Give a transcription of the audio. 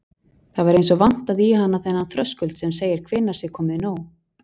Það var eins og vantaði í hana þennan þröskuld sem segir hvenær sé komið nóg.